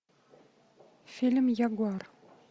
фильм ягуар